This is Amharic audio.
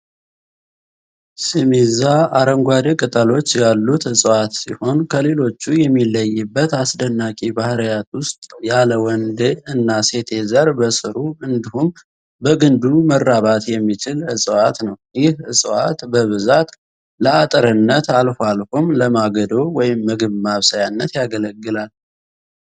ሲሚዛ አረንጓዴ ቅጠሎች ያሉት እፅዋት ሲሆን ከሌሎቹ የሚለይበት አስደናቂ ባህሪያት ውስጥ ያለ ወንዴ እና ሴቴ ዘር በስሩ እዲሁም በግንዱ መራባት የሚችል እፅዋት ነው። ይህ እፅዋት በብዛት ለአጥርነት አልፎ አልፎም ለማገዶ (ምግብ ማብሰያነት) ያገለግላል።